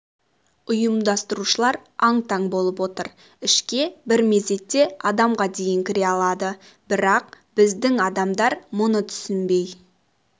ұйымдастырушылар аң-таң болып отыр ішке бір мезетте адамға дейін кіре алады бірақ біздік адамдар мұны түсінбей